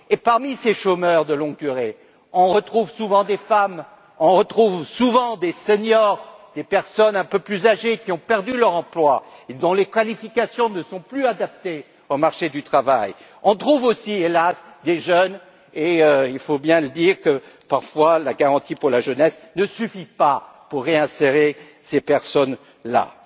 Et parmi ces chômeurs de longue durée, on trouve souvent des femmes, on trouve souvent des seniors et des personnes un peu plus âgées qui ont perdu leur emploi et dont les qualifications ne sont plus adaptées au marché du travail. On trouve aussi, hélas, des jeunes et il faut bien le dire parfois, la garantie pour la jeunesse ne suffit pas pour réinsérer ces personnes là.